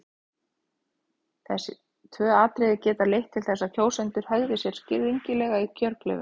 Þessi tvö atriði geta leitt til þess að kjósendur hegði sér skringilega í kjörklefanum.